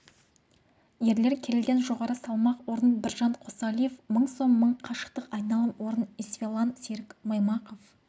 ерлер келіден жоғары салмақ орын біржан қосалиев мың сом мың қашықтық айналым орын исфалан серік маймақов